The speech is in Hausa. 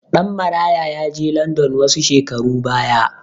Ɗanmaraya ya je landan wasu shekaru baya.